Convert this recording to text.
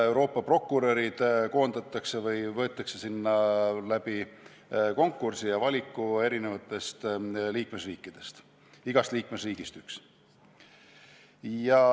Euroopa prokurörid võetakse tööle konkursi alusel, tehes valiku eri liikmesriikide prokuröride vahel, igast liikmesriigist üks.